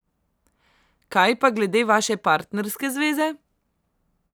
Kaj pa glede vaše partnerske zveze?